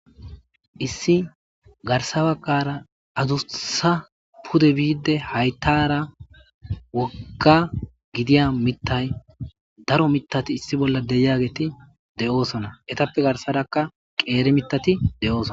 issi garsabakara adusa pude biide hayttara wogga gidiya mitay daro mitati issi bolla deyageeti de7oosona etappe garsadakka qeere mitati de7ooson